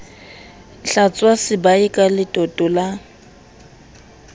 hlwatswa sebae ka letoto la